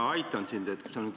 Hea ettekandja!